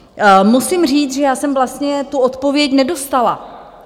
Musím říct, že já jsem vlastně tu odpověď nedostala.